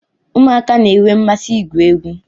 Ụmụaka na-enwe mmasị igwu egwu